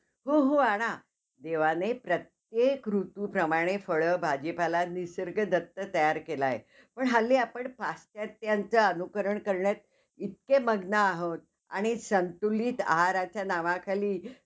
तसंच त्या serial मध्ये आता ते प्रिशान, रुद्र अं म्हणजे त्यांना अह मारून टाकलेलं आहे, तसं दाखवलेलं आहे. नंतर आता त्यांचा पर्ण~ परत दुसरा आह जन्म झालेला आहे ते दाखवलेलं आहे.